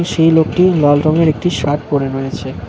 সেই লোকটি লাল রঙের একটি শার্ট পরে রয়েছে।